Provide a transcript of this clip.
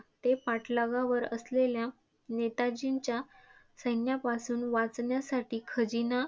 ते पाठलागावर असलेल्या नेताजींच्या सैन्यापासून वाचण्यासाठी खजिना.